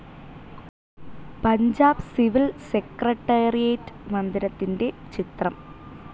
Punjab civil secretariat മന്ദിരത്തിന്റെ ചിത്രം